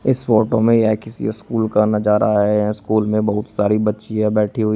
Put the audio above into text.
इस फोटो में यह किसी स्कूल का नजारा है यह स्कूल में बहुत सारी बच्चियां बैठी हुई--